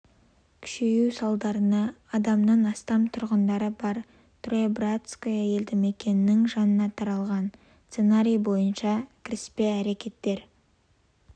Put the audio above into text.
күшею салдарына адамнан астам тұрғындары бар троебратское елді мекенінің жағына таралған сценарий бойынша кіріспе әрекеттер